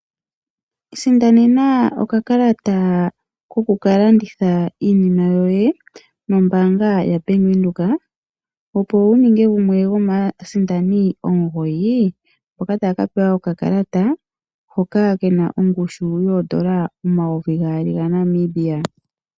Isindanena okakalata koku kalanditha iinima yoye nombaanga yaBank Windhoek opo wuninge gumwe gomaasindani omugoyi mboka taya ka pewa okakalata hoka kena ongushu yoodola omayovi gaali gaNamibia.